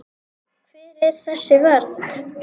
Hver er þessi vernd?